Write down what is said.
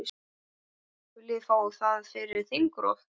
Viljið fá það fyrir þingrof?